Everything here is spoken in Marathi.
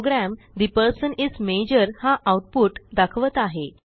program the person is major हा आऊटपुट दाखवत आहे